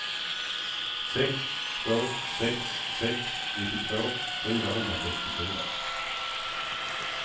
sex två sex sex nittiotvå fyrahundrasextiofyra